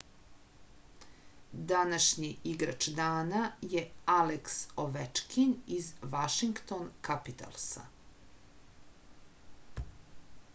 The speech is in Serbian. današnji igrač dana je aleks ovečkin iz vašington kapitalsa